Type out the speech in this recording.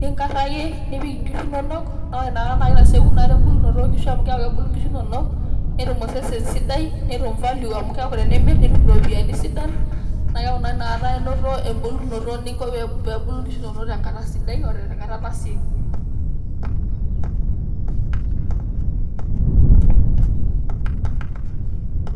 ninkaraki, nipik inkishu inonok, naa ore ina kata kitasieku ina kata ebulunoto, amu eeku kebulu nkishu nonok, netum osesen sidai. netum value amu keeku tenimir nitum iropiyiani sidan. naa keeku naa ina kata inoto, ebulunoto pee ebulu nkishu inonok te nkata sidai, ote nkata nasieku.